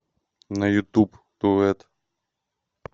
на ютуб дуэт